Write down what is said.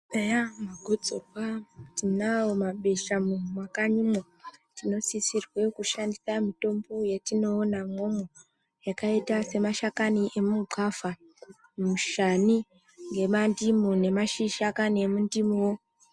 Eya magotsorwa tinawo mabesha mumakanyimo tinosisirwa kushandisa mitombo yatinoona imwomwo yakaita semashakani eya mushani nemandimu nemashakani emundimuwo.